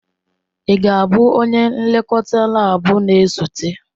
Ị ga-abụ onye nlekọta laabu na-esote?